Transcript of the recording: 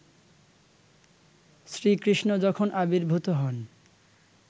শ্রীকৃষ্ণ যখন আবির্ভূত হন